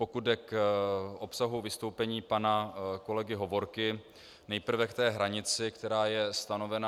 Pokud jde o obsah vystoupení pana kolegy Hovorky, nejprve k té hranici, která je stanovena.